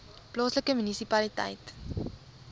plaaslike munisipaliteit